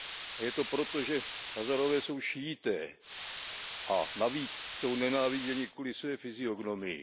A je to proto, že Hazárové jsou Šíité a navíc jsou nenáviděni kvůli své fyziognomii.